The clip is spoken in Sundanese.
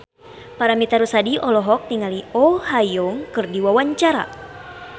Paramitha Rusady olohok ningali Oh Ha Young keur diwawancara